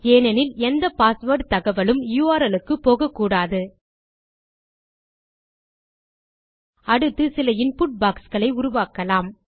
ஏனெனில் எந்த பாஸ்வேர்ட் தகவலும் யுஆர்எல் க்கு போகக்கூடாது அடுத்து சில இன்புட் பாக்ஸ் களை உருவாக்கலாம்